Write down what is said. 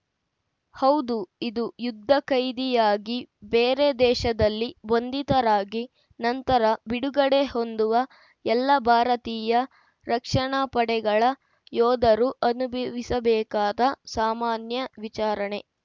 ಹೌದು ಇದು ಯುದ್ಧಕೈದಿಯಾಗಿ ಬೇರೆ ದೇಶದಲ್ಲಿ ಬಂಧಿತರಾಗಿ ನಂತರ ಬಿಡುಗಡೆ ಹೊಂದುವ ಎಲ್ಲ ಭಾರತೀಯ ರಕ್ಷಣಾ ಪಡೆಗಳ ಯೋಧರೂ ಅನುಭವಿಸಬೇಕಾದ ಸಾಮಾನ್ಯ ವಿಚಾರಣೆ